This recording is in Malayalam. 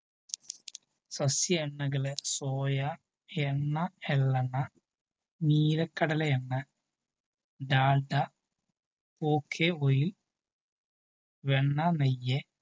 സസ്സ്യ എണ്ണകളായ സോയഎണ്ണ എള്ളെണ്ണ നീലക്കടലയെണ്ണ ഡാൽഡ ok oil വെണ്ണ നെയ്യ്‌